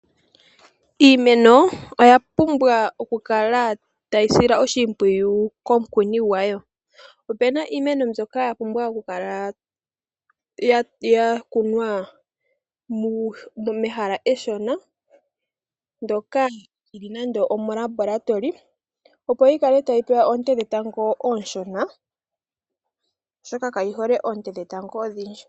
Iimeno oyapumbwa okukala tayi silwa oshimpwiyu komukuni gwayo. Opuna iimeno mbyoka yapumbwa okukala yakunwa mehala eshona ndoka lyili nando omolabalatoli, opo yikale tayi pewa oonte dhetango ooshona oshoka kayi hole oonte dhetango odhindji.